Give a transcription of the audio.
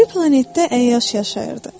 O biri planetdə əyyaş yaşayırdı.